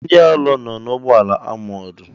Ee! Ndị agha nọ n'ụgbọala amọọ̀d.